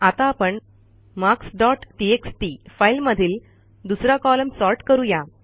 आता आपण marks dot text फाईलमधील दुसरा कॉलम सॉर्ट करू या